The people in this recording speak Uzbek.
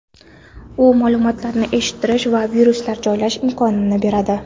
U ma’lumotlarni eshitish va viruslar joylash imkonini beradi.